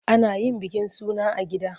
Ana yin bikin suna a gida.